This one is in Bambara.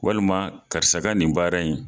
Walima karisa nin baara in